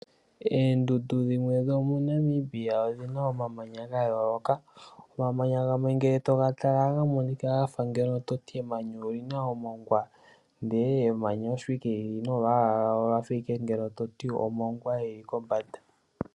Oondundu dhimwe dhomoNamibia odhi na omamanya ga yooloka. Omamanya gamwe ngele to ga tala ohaga monika ga fa andola to ti emenya oli na omongwa ndele emanya osho owala li li nolwaala lwalyo ogwa fa to ti owala omongwa gu li kombanda.